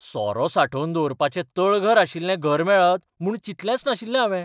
सोरो सांठोवन दवरपाचें तळघर आशिल्लें घर मेळत म्हूण चिंतलेंच नाशिल्लें हावें.